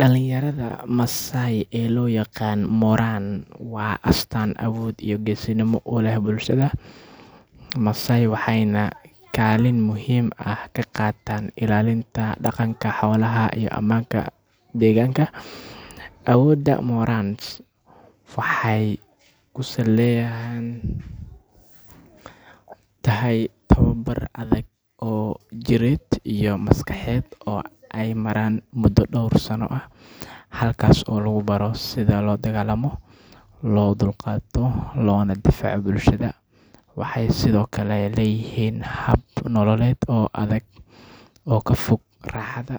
Dhallinyarada Maasai ee loo yaqaan morans waa astaan awood iyo geesinimo u leh bulshada Maasai waxayna kaalin muhiim ah ka qaataan ilaalinta dhaqanka, xoolaha, iyo ammaanka deegaanka. Awoodda morans waxay ku salaysan tahay tababar adag oo jireed iyo maskaxeed oo ay maraan muddo dhowr sano ah, halkaas oo lagu baro sida loo dagaallamo, loo dulqaato, loona difaaco bulshada. Waxay sidoo kale leeyihiin hab nololeed oo adag oo ka fog raaxada,